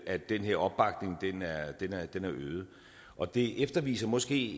at den her opbakning er øget og det viser måske